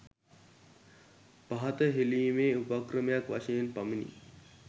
පහත හෙළීමේ උපක්‍රමයක් වශයෙන් පමණි.